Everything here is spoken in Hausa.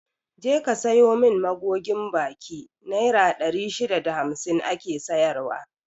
Je ka sayo mun magogin baki, naira ɗari shida da hamsin ake sayar wa